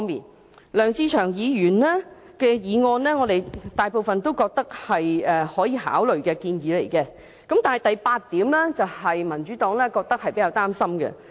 就梁志祥議員的議案，我們覺得大部分建議是可予以考慮的，但當中的第八項令民主黨較為擔心。